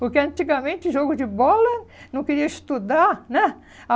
Porque antigamente, jogo de bola, não queria estudar, né?